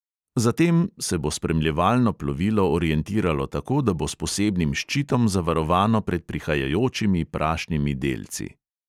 Zatem se bo spremljevalno plovilo orientiralo tako, da bo s posebnim ščitom zavarovano pred prihajajočimi prašnimi delci.